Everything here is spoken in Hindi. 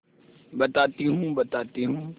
बताती हूँ बताती हूँ